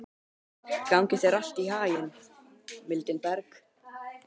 Gangi þér allt í haginn, Mildinberg.